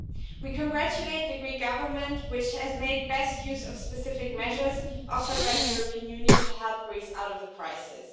We congratulate the Greek Government, which has made the best use of specific measures offered by the European Union to help Greece out of the crisis.